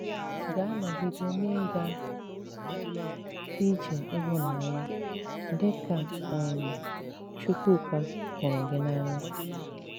Gà-anọgide n’ị́gà ije n’ịhụ̀nanya, dị kà um Chukwuka hụrụ gị n’anya.